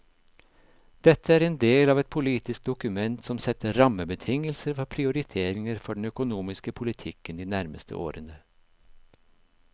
Dette er en del av et politisk dokument som setter rammebetingelser for prioriteringer for den økonomiske politikken de nærmeste årene.